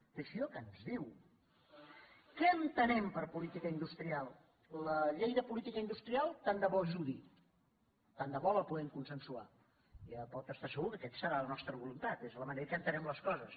teixidó què ens diu què entenem per política industrial la llei de política industrial tant de bo ajudi tant de bo la puguem consensuar ja pot estar segur que aquesta serà la nostra voluntat és la manera que entenem les coses